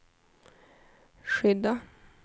skydda